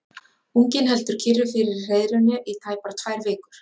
Unginn heldur kyrru fyrir í hreiðrinu í tæpar tvær vikur.